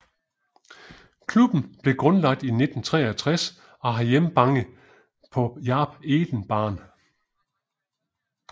Klubben blev grundlagt i 1963 og har hjemmbange på Jaap Eden baan